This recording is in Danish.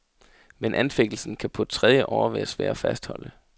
Men anfægtelsen kan på tredje år være svær at fastholde.